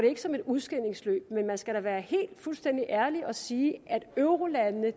ikke som et udskilningsløb men man skal da være helt fuldstændig ærlig og sige at eurolandene